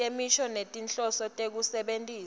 temisho ngetinhloso tekusebentisa